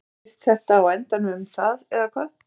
Kannski snýst þetta á endanum um það eða hvað?